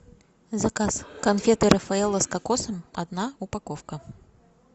заказ конфеты рафаэлло с кокосом одна упаковка